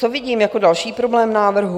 Co vidím jako další problém návrhu?